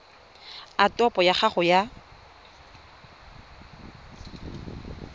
a topo ya gago ya